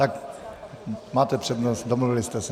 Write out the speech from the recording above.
Tak máte přednost, domluvili jste se.